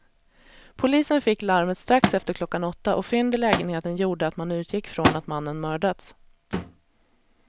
Polisen fick larmet strax efter klockan åtta och fynd i lägenheten gjorde att man utgick från att mannen mördats.